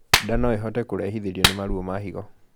Ndaa noĩhote kurehithirio ni maruo ma higo